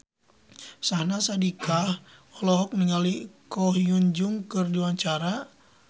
Syahnaz Sadiqah olohok ningali Ko Hyun Jung keur diwawancara